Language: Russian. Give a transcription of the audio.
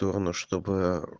торону чтобы э